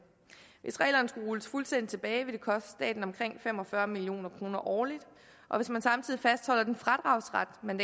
hvis reglerne skulle rulles fuldstændig tilbage ville det koste staten omkring fem og fyrre million kroner årligt og hvis man samtidig fastholder den fradragsret man